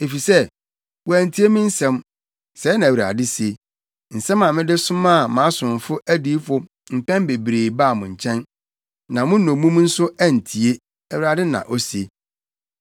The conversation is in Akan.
Efisɛ, wɔantie me nsɛm,” sɛɛ na Awurade se, “nsɛm a mede somaa mʼasomfo adiyifo mpɛn bebree baa mo nkyɛn. Na mo nnommum nso antie,” Awurade na ose.